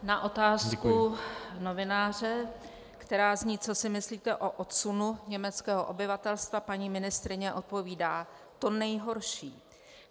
Na otázku novináře, která zní "Co si myslíte o odsunu německého obyvatelstva?" paní ministryně odpovídá: "To nejhorší.